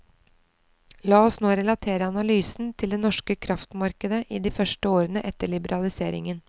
La oss nå relatere analysen til det norske kraftmarkedet i de første årene etter liberaliseringen.